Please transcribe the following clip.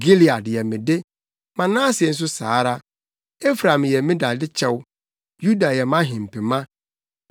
Gilead yɛ me de; Manase nso saa ara; Efraim yɛ me dade kyɛw, Yuda yɛ mʼahempema.